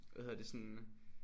Hvad hedder det sådan